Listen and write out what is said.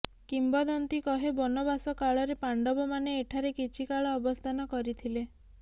କିମ୍ବଦନ୍ତୀ କହେ ବନବାସକାଳରେ ପାଣ୍ଡବମାନେ ଏଠାରେ କିଛିକାଳ ଅବସ୍ଥାନ କରିଥିଲେ